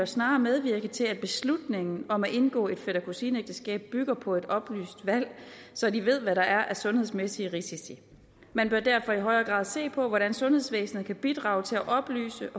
snarere medvirke til at beslutningen om at indgå et fætter kusine ægteskab bygger på et oplyst valg så de ved hvad der er af sundhedsmæssige risici man bør derfor i højere grad se på hvordan sundhedsvæsenet kan bidrage til at oplyse